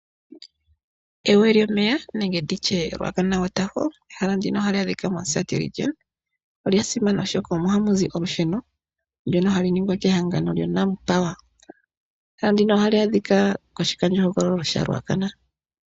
Egwo lyomeya nenge nditye Ruacana waterfall ehala ndino hali adhika mOmusati region. Olya simana oshoka omo hamuzi olusheno ndono hali ningwa kehagano lyaNampower . Eha ndino ohali adhikwa koshikandjo hogololo shaRuacana.